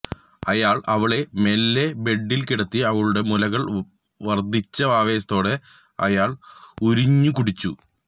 അയാള് അവളെ മെല്ലെ ബെട്ടില് കിടത്തി അവളുടെ മുലകള് വര്ദിച്ച ആവേശത്തോടെ അയാള് ഉരുഞ്ഞി കുടിച്ചു